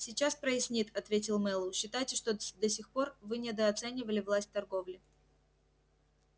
сейчас прояснит ответил мэллоу считайте что до сих пор вы недооценивали власть торговли